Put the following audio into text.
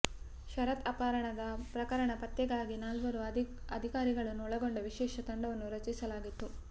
ಶರತ್ ಅಪಹರಣ ಪ್ರಕರಣ ಪತ್ತೆಗಾಗಿ ನಾಲ್ವರು ಅಧಿಕಾರಿಗಳನ್ನು ಒಳಗೊಂಡ ವಿಶೇಷ ತಂಡವನ್ನು ರಚಿಸಲಾಗಿತ್ತು